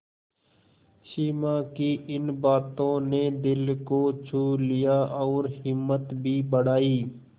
सिमा की इन बातों ने दिल को छू लिया और हिम्मत भी बढ़ाई